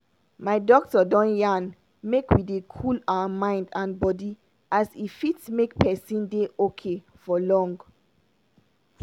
my doctor don yarn make we dey cool our mind and bodi as e fit make pesin dey okay for long.